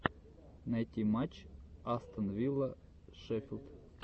найти матч астон вилла шеффилд